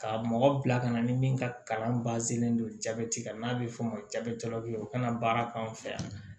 Ka mɔgɔ bila ka na ni min ka kalan bannen don jabɛti kan n'a bɛ fɔ o ma jabɛti labila u kana baara k'an fɛ yan